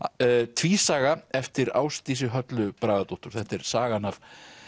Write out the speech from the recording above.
tvísaga eftir Ásdísi Höllu Bragadóttur þetta er sagan af